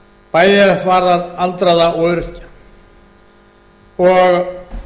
bæði hvað varðar aldraða og öryrkja og